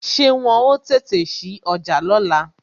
Ṣé wọn ó tètè sí ọjà lóla?